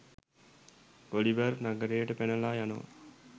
Oliver නගරයට පැනලා යනවා